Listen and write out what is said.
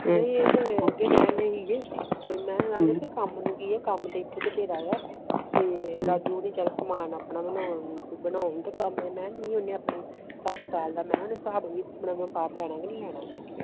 ਨਹੀਂ ਏ ਤੇ ਮੁੜਕੇ ਕਹਿਣ ਡੇ ਸੀ ਕੇ ਤੇ ਮੈਂ ਕਮ ਨੂੰ ਕਿ ਕਮ ਤਾ ਇਥੇ ਬਥੇਰਾ ਆ ਤੇ ਰਾਜੂ ਸਮਾਨ ਆਪਣੇ ਬਣੌਨ